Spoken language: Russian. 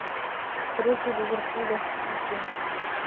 встреча ливерпуля с сити